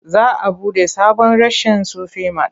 Za a buɗe sabon reshen Sufi mat.